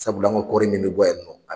Sabula an ka kɔɔri min bɛ bɔ yan nɔ